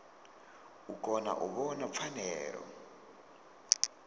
u kona u vhona pfanelo